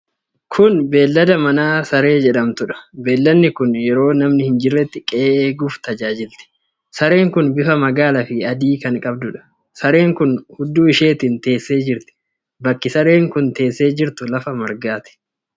Kuni beellada manaa saree jedhamtuudha. Beelladi kun yeroo namni hin jirretti qe'ee eeguuf tajaajilti. Sareen kun bifa magaala fi adii kan qabduudha. Sareen kun Huddu isheetiin teessee jirti. Bakki saree kun teessee jirtu lafa margaati.